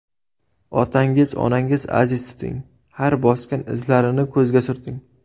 Otangiz, onangiz aziz tuting, Har bosgan izlarini ko‘zga surting.